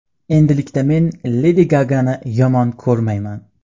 Endilikda men Ledi Gagani yomon ko‘rmayman.